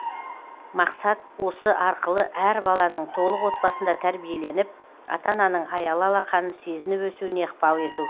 мақсат осы арқылы әр баланың толық отбасында тәрбиеленіп ата ананың аялы алақанын сезініп өсуіне ықпал ету